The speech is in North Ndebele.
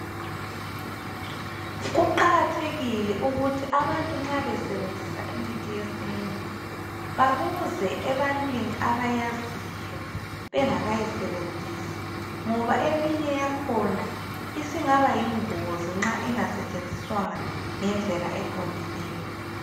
Kuqakathekile ukuthi abantu nxa besebenzisa imithi yesintu babuze ebantwini abayaziyo bengakayisebenzisi ,ngoba eminye yakhona isingaba yingozi nxa ingasetshenziswanga ngendlela eqondileyo.